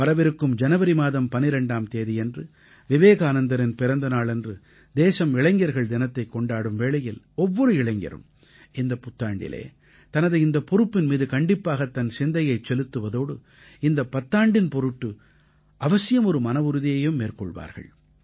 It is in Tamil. வரவிருக்கும் ஜனவரி மாதம் 12ஆம் தேதியன்று விவேகானந்தரின் பிறந்த நாளன்று தேசம் இளைஞர்கள் தினத்தைக் கொண்டாடும் வேளையில் ஒவ்வொரு இளைஞரும் இந்தப் பத்தாண்டிலே தனது இந்தப் பொறுப்பின் மீது கண்டிப்பாகத் தன் சிந்தையைச் செலுத்துவதோடு இந்தப் பத்தாண்டின் பொருட்டு அவசியம் ஒரு மனவுறுதியையும் மேற்கொள்வார்